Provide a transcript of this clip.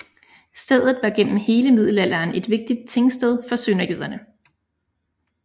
Stedet var gennem hele middelalderen et vigtigt tingsted for sønderjyderne